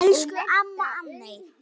Elsku amma Anney.